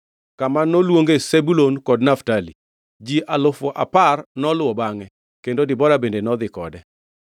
kama noluonge Zebulun kod Naftali. Ji alufu apar noluwo bangʼe, kendo Debora bende nodhi kode.